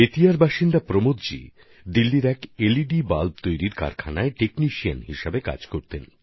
বেতিয়ার বাসিন্দা প্রমোদজি দিল্লিতে একজন টেকনিশিয়ান হিসেবে এলইডি বাল্ব তৈরির একটা কারখানায় কাজ করতেন